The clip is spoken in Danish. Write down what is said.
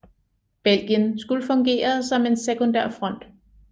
Belgien skulle fungere som en sekundær front